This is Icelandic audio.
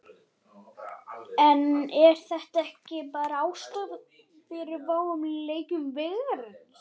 En er þetta ekki bara ástæðan fyrir fáum leikjum Veigars?